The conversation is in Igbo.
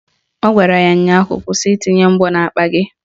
Ọ gwara ya ụnyaahụ " Kwụsị itinye mgbọ n'akpa gị"!